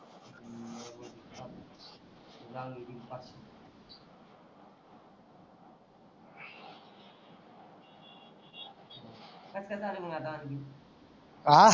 आं